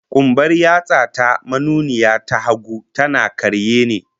Kumbar yatsa ta manuniya ta hagu, tana karye ne